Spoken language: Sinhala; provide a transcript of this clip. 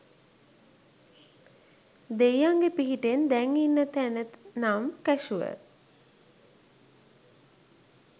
දෙයියන්ගේ පිහිටෙන් දැන් ඉන්න තැන නම් කැෂුවල්!